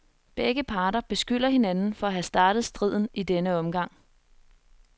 Begge parter beskylder hinanden for at have startet striden i denne omgang.